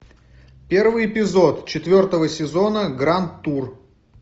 первый эпизод четвертого сезона гранд тур